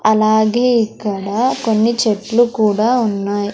అలాగే ఇక్కడా కొన్ని చెట్లు కూడా ఉన్నాయ్.